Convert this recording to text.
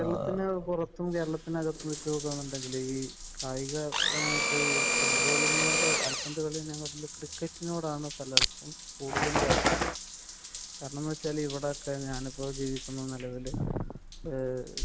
കേരളത്തിന് പുറത്തും കേരളത്തിനകത്തും വെച്ച് നോക്കുകയാണെന്നുണ്ടെങ്കിൽ ഈ കായികപരമായിട്ട് ഫുട്ബോൾ തന്നെ കാൽപന്ത്